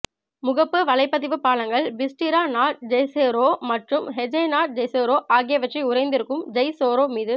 முகப்புவலைப்பதிவுபாலங்கள் பிஸ்டிரா நாட் ஜேசெரோ மற்றும் ஹஜே நாட் ஜேசெரோ ஆகியவற்றை உறைந்திருக்கும் ஜெய்ஸெரோ மீது